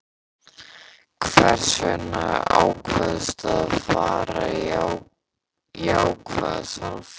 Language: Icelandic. Meiri kröfur en þú telur þig geta náð?